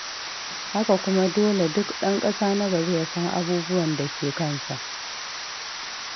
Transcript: Haka kuma dole duk ɗan ƙasa na gari ya san abubuwan da ke kansa.